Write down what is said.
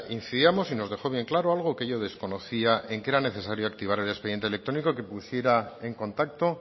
incidamos y nos dejó bien claro algo que yo desconocía en que era necesario activar el expediente electrónico que pusiera en contacto